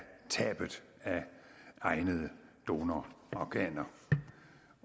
tabet af egnede donororganer